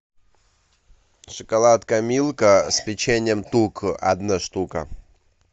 шоколадка милка с печеньем тук одна штука